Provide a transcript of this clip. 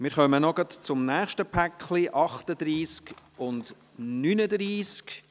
Wir kommen gleich noch zum nächsten Paket, den Traktanden 38 und 39.